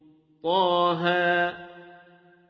طه